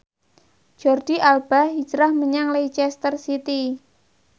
Jordi Alba hijrah menyang Leicester City